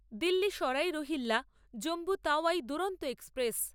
Delhi Sarai Rohilla Jammu Tawi Duronto express